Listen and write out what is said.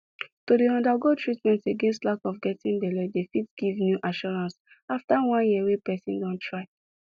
to dey undergo treatment against lack of getting belle dey fit give new assurance after one year wey person don try